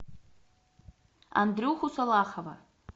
андрюху салахова